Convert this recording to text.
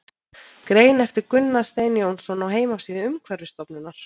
Grein eftir Gunnar Stein Jónsson á heimasíðu Umhverfisstofnunar.